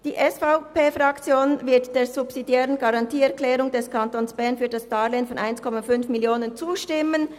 Die SVP-Fraktion wird der subsidiären Garantieerklärung des Kantons Bern für das Darlehen von 1,5 Mio. Franken zustimmen.